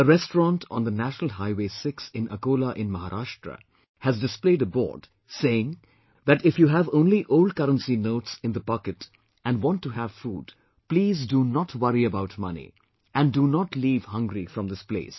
A restaurant on the National Highway6 in Akola in Maharashtra has displayed a board saying that if you have only old currency notes in the pocket and want to have food, please, do not worry about money and do not leave hungry from this place